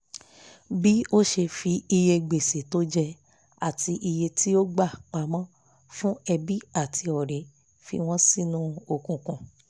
bí ó ṣe fi iye gbèsè tó jẹ àti iye tí ó gbà pamọ́ fún ẹbí àti ọ̀rẹ́ fi wọ́n sínú òkùnkùn